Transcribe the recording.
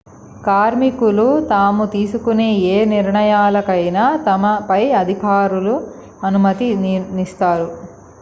కార్మికులు తాము తీసుకునే ఏ నిర్ణయాలకైనా తమ పై అధికారులకు అనుమతి నిస్తారు